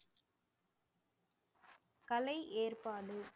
கலை ஏற்பாடு